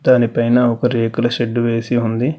దానిపైన ఒక రేకుల షెడ్డు వేసి ఉంది.